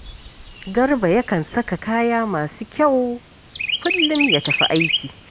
Garba yakan saka kaya masu kyau kullum ya tafi aiki